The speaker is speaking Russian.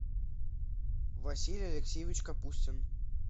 василий алексеевич капустин